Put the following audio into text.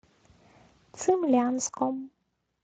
цимлянском